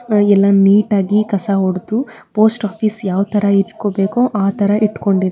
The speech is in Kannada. ಹಾಗೆ ಎಲ್ಲ ನೀಟಾಗಿ ಕಸ ಹೊಡೆದು ಪೋಸ್ಟ್ ಆಫೀಸ್ ಯಾವತರ ಇಟ್ಕೋಬೇಕು ಆತರ ಇಟ್ಟುಕೊಂಡಿದ್ದಾರೆ.